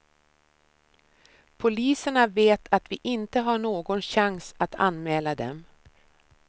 Poliserna vet att vi inte har någon chans att anmäla dem.